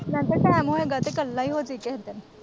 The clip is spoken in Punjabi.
ਮੈਂ ਕਿਹਾ ਟੈਮ ਹੋਏਗਾ ਤੇ ਇੱਕਲਾ ਹੀ ਹੋ ਜੀ ਕੇਹੇ ਦਿਨ।